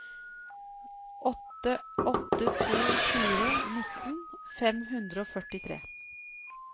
åtte åtte to fire nitten fem hundre og førtitre